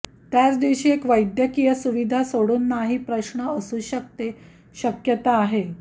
त्याच दिवशी एक वैद्यकीय सुविधा सोडून नाही प्रश्न असू शकते शक्यता आहे